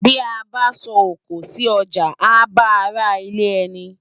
Bi á bá sò ókó si òjá á bá àrá ilè èni